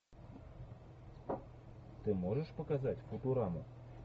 ты можешь показать футураму